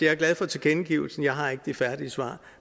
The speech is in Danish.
er glad for tilkendegivelsen jeg har ikke de færdige svar